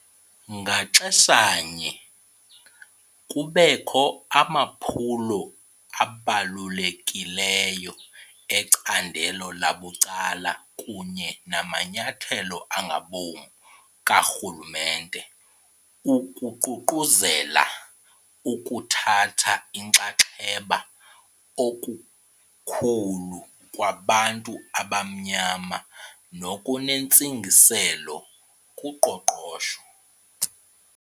Ngaxeshanye, kubekho amaphulo abalulekileyo ecandelo labucala kunye namanyathelo angabom karhulumente ukuququzelela ukuthatha inxaxheba okukhulu kwabantu abamnyama nokunentsingiselo kuqoqosho.